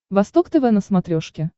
восток тв на смотрешке